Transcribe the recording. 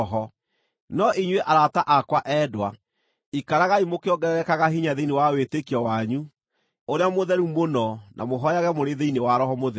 No inyuĩ arata akwa endwa, ikaragai mũkĩongererekaga hinya thĩinĩ wa wĩtĩkio wanyu ũrĩa mũtheru mũno na mũhooyage mũrĩ thĩinĩ wa Roho Mũtheru.